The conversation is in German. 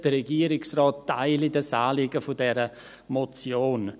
der Regierungsrat teile das Anliegen der Motion.